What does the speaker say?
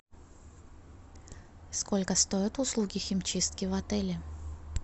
сколько стоят услуги химчистки в отеле